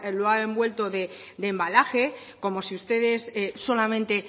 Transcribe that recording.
lo ha envuelto de embalaje como si ustedes solamente